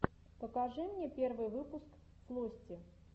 покажи мне первый выпуск флости